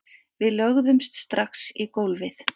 Við lögðumst strax í gólfið